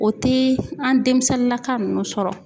O te an demisɛnnilaka nunnu sɔrɔ